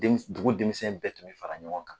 dugu denmisɛn bɛɛ tun bɛ fara ɲɔgɔn kan.